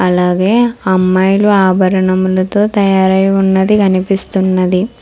అలాగే అమ్మాయిలు ఆభరణములతో తయారై ఉన్నది కనిపిస్తున్నది.